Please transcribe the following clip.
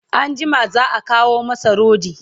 anjima za'a kawo masa rodi